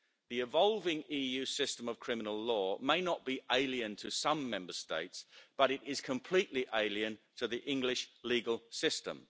The evolving EU system of criminal law may not be alien to some Member States, but it is completely alien to the English legal system.